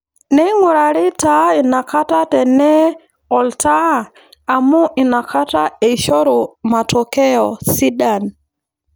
Neing'urari taa inakata tenee oltaa amuu inakata eishoru matokeyo sidan.